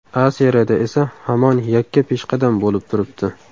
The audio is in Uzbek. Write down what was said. A Seriyada esa hamon yakka peshqadam bo‘lib turibdi.